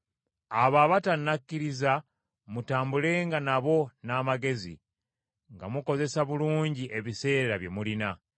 Abo abatannakkiriza mutambulenga nabo n’amagezi, nga mukozesa bulungi ebiseera bye mulina.